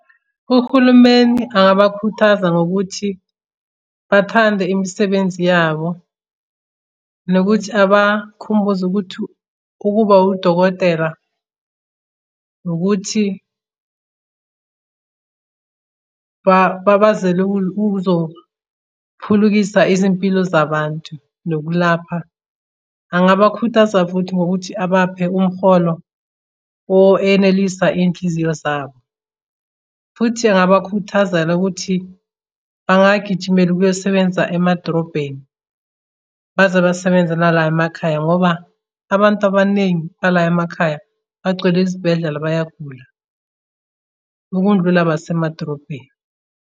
Uhulumeni angabakhuthaza ngokuthi bathande imisebenzi yabo, nokuthi abakhumbuze ukuthi ukuba udokotela. Nokuthi babazele ukuzophulukisa izimpilo zabantu nokulapha. Angabakhuthaza futhi ngokuthi abaphe umholo or enelisa iy'nhliziyo zabo. Futhi angabakhuthazela ukuthi bangagijimeli ukuyosebenza emadrobheni. Baze basebenzela la emakhaya ngoba abantu abaningi bala emakhaya bagcwele izibhedlela bayagula, ukundlula basemadrobheni.